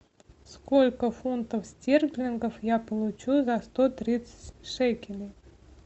сколько фунтов стерлингов я получу за сто тридцать шекелей